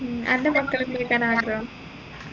ഉം അൻറെ മക്കളെ എന്ത് പഠിക്കാനാ ആഗ്രഹം